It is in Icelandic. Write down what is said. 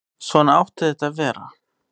Svona átti þetta að vera.